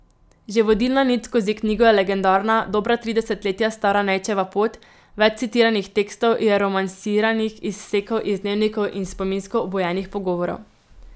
Že vodilna nit skozi knjigo je legendarna, dobra tri desetletja stara Nejčeva Pot, več citiranih tekstov je romansiranih izsekov iz dnevnikov in spominsko obujenih pogovorov.